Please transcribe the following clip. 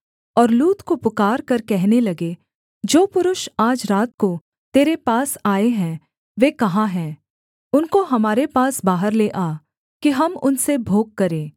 और लूत को पुकारकर कहने लगे जो पुरुष आज रात को तेरे पास आए हैं वे कहाँ हैं उनको हमारे पास बाहर ले आ कि हम उनसे भोग करें